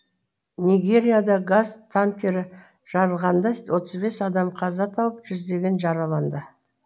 нигерияда газ танкері жарылғанда отыз бес адам қаза тауып жүздегені жараланды